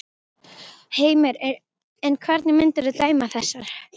Heimir: En hvernig myndirðu dæma þessar?